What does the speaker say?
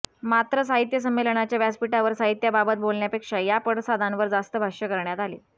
मात्र साहित्य संमेलनाच्या व्यासपीठावर साहित्याबाबत बोलण्यापेक्षा या पडसादांवर जास्त भाष्य करण्यात आले